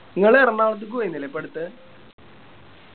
ഇങ്ങള് എറണാകുളത്തേക്ക് പോയിന്നില്ലേ ഇപ്പട്ത്ത്